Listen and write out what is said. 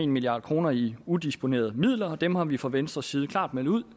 milliard kroner i udisponerede midler og dem har vi fra venstres side klart meldt ud